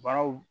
Baaraw